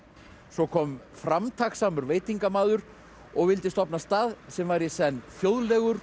svo kom framtakssamur veitingamaður og vildi stofna stað sem væri í senn þjóðlegur